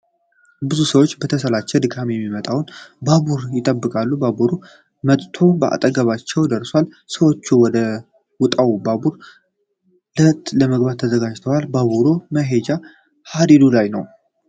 ብዙ ሰዎች በተሰላቸ ድካም የሚመጣውን ባቡር ይጠብቃሉ። ባቡሩ መጥቶ ከአጠገባቸው ደርሷል። ሰዎቹም ወደ መጣው ባቡር ለመግባት ተዘጋጅተዋል። ባቡሩ በመሄጃ ሃዲዱ ላይ ነው።